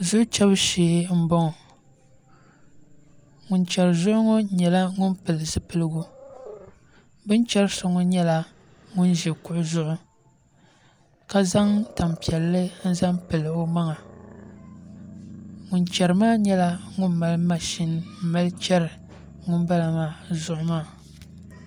Zuɣu chɛbu shee n boŋo ŋun chɛri zuɣu ŋo nyɛla ŋun pili zipiligu bi ni chɛri so ŋo nyɛla ŋun ʒi kuɣu zuɣu ka zaŋ tanpiɛlli n zaŋ pili o maŋa ŋun chɛri maa nyɛla ŋun mali mashin n mali chɛri ŋunbala maa zuɣu maa